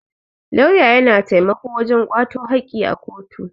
Lauya ya na taimako wajen kwato haki a kotu.